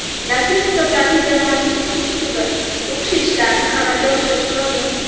Darslik kitoblarini jamoatchilik tekshiruvi, o‘qishi ishlarini amalga oshirish lozim.